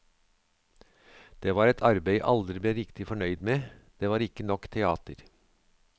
Det var et arbeid jeg aldri ble riktig fornøyd med, det var ikke nok teater.